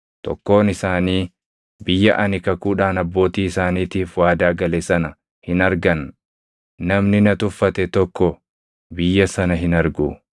tokkoon isaanii biyya ani kakuudhaan abbootii isaaniitiif waadaa gale sana hin argan. Namni na tuffate tokko biyya sana hin argu.